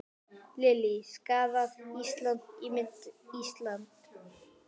Lillý: Skaðað Ísland, ímynd Íslands?